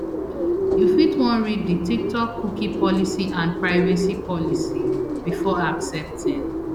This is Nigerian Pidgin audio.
you fit wan read di tiktokcookie policyandprivacy policybefore accepting